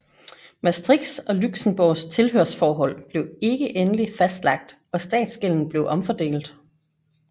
Maastrichts og Luxembourgs tilhørsforhold blev ikke endelig fastlagt og statsgælden blev omfordelt